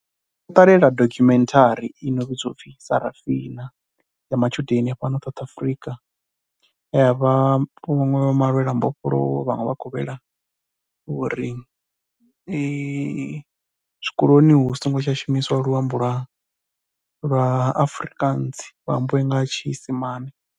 Ndo no ṱalela dokhumenthari ino vhidzwa u pfhi Sarafina ya matshudeni a fhano South Afrika ye ha vha hu khou malwelwa mbofholowo, vhaṅwe vha khou lwela uri zwikoloni hu songo tsha shumiswa luambo lwa lwa Afrikaans hu ambiwe nga tshiisimane.